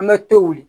An ka to wuli